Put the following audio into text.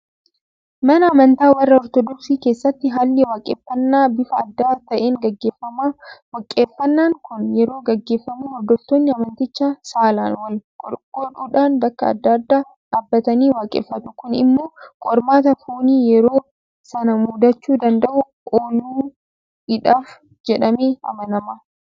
Mana amantaa warra Ortodoksii keessatti haalli waaqeffannaa bifa adda ta'een gaggeeffama. Waaqeffannaan kun yeroo gaggeeffamu hordoftoonni amantichaa saalaan wal-qooduudhaan bakka adda addaa dhaabbatanii waaqeffatu. Kun immoo qormaata foonii yeroo sana mudachuu danda'u ooluidhaaf jedhamee amanama.